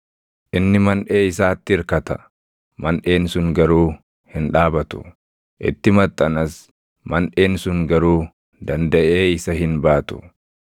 Inni manʼee isaatti irkata; manʼeen sun garuu hin dhaabatu; itti maxxanas; manʼeen sun garuu dandaʼee isa hin baatu.